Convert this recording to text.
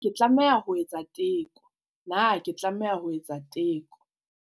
Na ke tlameha ho etsa teko Na ke tlameha ho etsa teko